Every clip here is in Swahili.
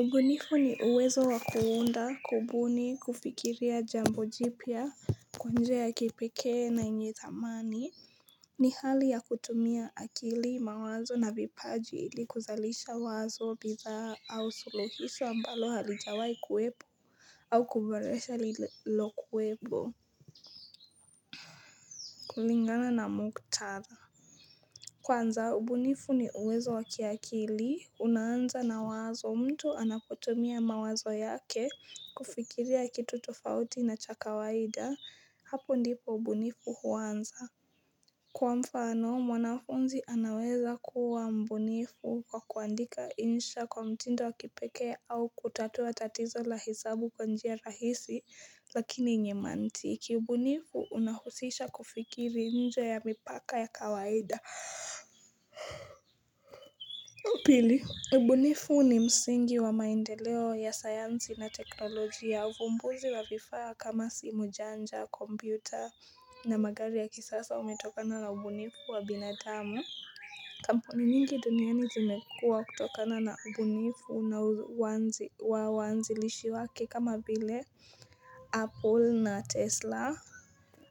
Ubunifu ni uwezo wakuunda kubuni kufikiria jambo jipya kwa njia ya kipekee na yenye thamani ni hali ya kutumia akili mawazo na vipaji ili kuzalisha wazo bidhaa au suluhiso ambalo halijawai kuwepo au kuboresha lililo kuwepo kulingana na mkutadha Kwanza, ubunifu ni uwezo wakiakili. Unaanza na wazo mtu anapotumia mawazo yake kufikiria kitu tofauti na chakawaida. Hapu ndipo ubunifu huanza. Kwa mfano, mwanafunzi anaweza kuwa mbunifu kwa kuandika insha kwa mtindo wakipekee au kutatua tatizo lahesabu kwa njia rahisi lakini nyemanti. Kiubunifu unahusisha kufikiri nje ya mipaka ya kawaida. Pili, ubunifu ni msingi wa maendeleo ya sayansi na teknolojia ya uvumbuzi wa vifaya kama simu janja, kompyuta na magari ya kisasa umetokana na ubunifu wa binadamu. Kamponi nyngii duniani zimekua kutokana na ubunifu na waanzilishi wake kama vile Apple na Tesla.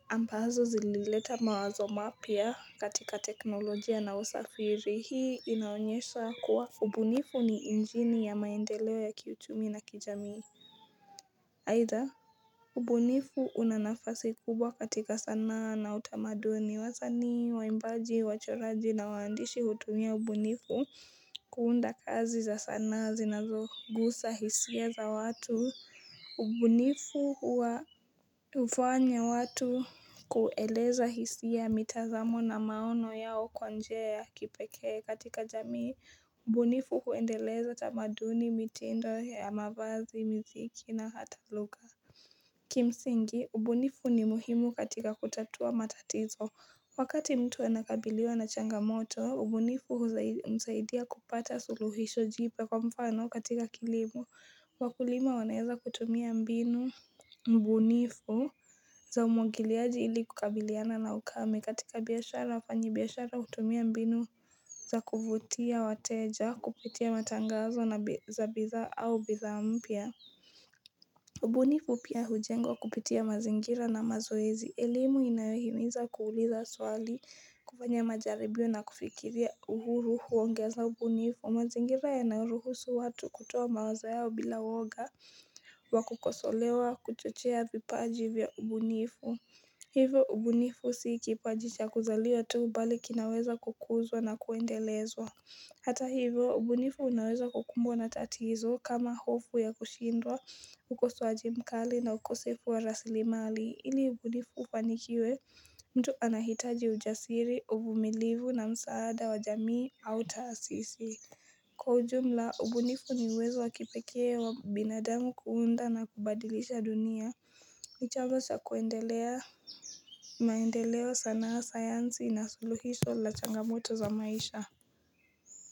Ambazo zilileta mawazo mapyia katika teknolojia na usafiri hii inaonyesha kuwa ubunifu ni injini ya maendeleo ya kiuchumi na kijamii aitha, ubunifu unanafasi kubwa katika sanaa na utamaduni ni wasanii, waimbaji, wachoraji na waandishi hutumia ubunifu kuunda kazi za sanaa zinazogusa hisia za watu ubunifu hufanya watu kueleza hisia mitazamo na maono yao kwanjia ya kipeke katika jamii ubunifu huendeleza tamaduni mitendo ya mavazi muziki na hatalugha Kimsingi, ubunifu ni muhimu katika kutatua matatizo Wakati mtu anakabiliwa na changamoto, ubunifu humsaidia kupata suluhisho jipya kwa mfano katika kilimo Wakulima waneza kutumia mbinu bunifu za umwagiliaji ili kukabiliana na ukame katika biashara, wafanyi biashara hutumia mbinu za kuvutia, wateja, kupitia matangazo za bidhaa au bidhaa mpya. Ubunifu pia hujengwa kupitia mazingira na mazoezi. Elimu inayohimiza kuuliza swali kufanya majaribio na kufikiria uhuru huongeza ubu nifu. Mazingira yanayoruhusu watu kutoa mawaza yao bila woga wa kukosolewa kuchochea vipajivya vya ubunifu. Hivyo ubu nifu siikipajicha kuzaliwa tuu bali kinaweza kukuzwa na kuendelezwa. Hata hivyo ubunifu unaweza kukumbwa na tatizo kama hofu ya kushindwa ukosowaji mkali na ukosefu wa rasilimali ili ubunifu ufanikiwe mtu anahitaji ujasiri uvumilivu na msaada wa jamii au taasisi Kwa ujumla ubunifu ni wezo wakipekee wa binadamu kuunda na kubadilisha dunia ni jambo za kuendelea maendeleo sanaa sayansi na suluhiso la changamoto za maisha ya.